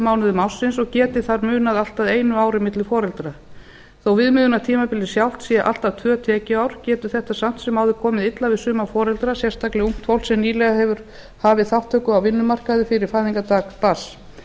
mánuðum og geti þar munað allt að einu ári milli foreldra þó viðmiðunartímabilið sjálft sé allt að tvö tekjuár getur þetta samt sem áður komið illa við suma foreldra sérstaklega ungt fólk sem nýlega hefur hafi þátttöku á vinnumarkaði fyrir fæðingardag barns